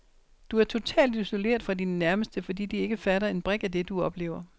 Du er totalt isoleret fra dine nærmeste, fordi de ikke fatter en brik af det, du oplever.